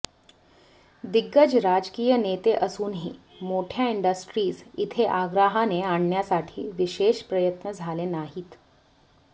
दिग्गज राजकीय नेते असूनही मोठ्या इंडस्ट्रीज इथे आग्रहाने आणण्यासाठी विशेष प्रयत्न झाले नाहीत